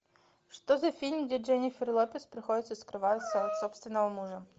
что за фильм где дженнифер лопес приходится скрываться от собственного мужа